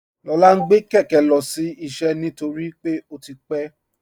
Lọla ǹ gbẹ̀ kẹkẹ̀ lọ́sí iṣẹ́ nítorí pé ó ti pẹ̀.